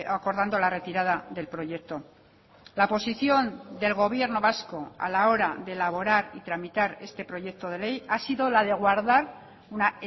acordando la retirada del proyecto la posición del gobierno vasco a la hora de elaborar y tramitar este proyecto de ley ha sido la de guardar una